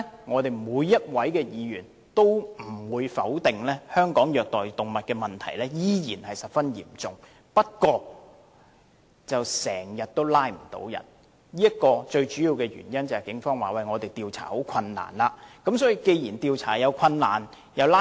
我相信沒有議員會否認，在香港虐待動物的問題仍然十分嚴重，但執法機關往往未能捉拿犯人歸案，而根據警方表示，最主要原因是調查方面有困難。